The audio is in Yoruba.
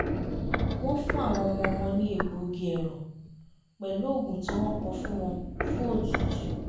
wọ́n fún àwọn ọmọ wọn ní egbògi ẹ̀rọ̀ pẹ̀lú òògùn tí wọ́n kọ fún wọn fún otútù